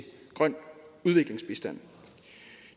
grøn udviklingsbistand